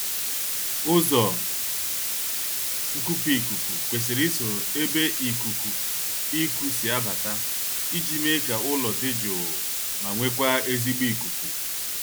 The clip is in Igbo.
Ụzọ nkupu ikuku kwesiri isoro ebe ikuku iku si abata iji mee ka ụlọ dị jụụ ma nwekwaa ezigbo ikuku